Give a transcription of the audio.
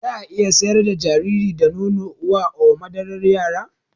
Zaa iya shayar da jariri da nono uwa or madarar yara